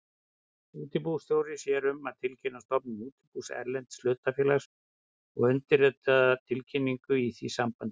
Útibússtjóri sér um að tilkynna stofnun útibús erlends hlutafélags og undirritar tilkynningu í því sambandi.